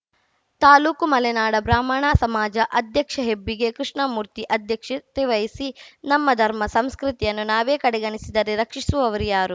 ತಾಲೂಕು ಮಲೆನಾಡ ಬ್ರಾಹ್ಮಣ ಸಮಾಜ ಅಧ್ಯಕ್ಷ ಹೆಬ್ಬಿಗೆ ಕೃಷ್ಣಮೂರ್ತಿ ಅಧ್ಯಕ್ಷತೆ ವಹಿಸಿ ನಮ್ಮ ಧರ್ಮ ಸಂಸ್ಕೃತಿಯನ್ನು ನಾವೇ ಕಡೆಗಣಿಸಿದರೆ ರಕ್ಷಿಸುವವರು ಯಾರು